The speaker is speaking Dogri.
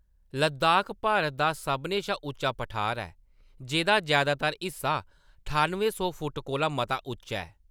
लद्दाख भारत दा सभनें शा उच्चा पठार ऐ, जेह्‌दा जैदातर हिस्सा ठान्नुएं फुट कोला मता उच्चा ऐ।